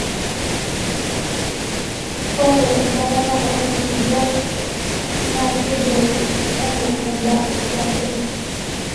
ore enchalana oo nkulupuok naa keibung'I anaa eba e etipat oleng